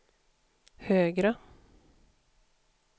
högre